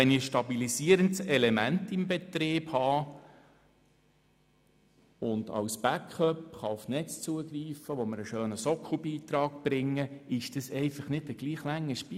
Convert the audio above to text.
Wenn ich ein stabilisierendes Element im Betrieb habe und als Backup auf Netze zugreifen kann, die mir einen schönen Sockelbeitrag bringen, handelt es sich einfach nicht um gleich lange Spiesse.